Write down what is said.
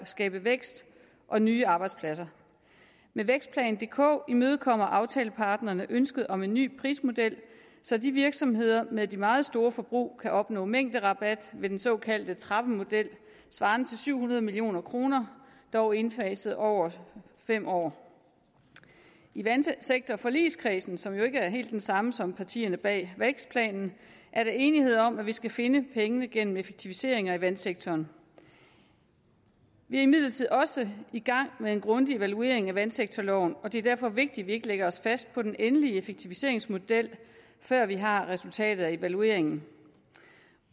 skabe vækst og nye arbejdspladser med vækstplan dk imødekommer aftaleparterne ønsket om en ny prismodel så de virksomheder med de meget store forbrug kan opnå mængderabat ved den såkaldte trappemodel svarende til syv hundrede million kr dog indfaset over fem år i vandsektorforligskredsen som jo ikke er helt den samme som partierne bag vækstplanen er der enighed om at vi skal finde pengene gennem effektiviseringer i vandsektoren vi er imidlertid også i gang med en grundig evaluering af vandsektorloven og det er derfor vigtigt at vi ikke lægger os fast på den endelige effektiviseringsmodel før vi har resultatet af evalueringen